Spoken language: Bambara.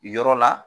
Yɔrɔ la